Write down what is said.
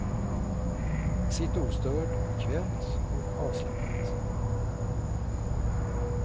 Sitt ostörd, bekvämt och avslappnat.